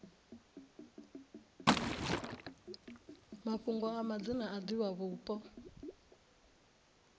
mafhungo a madzina a divhavhupo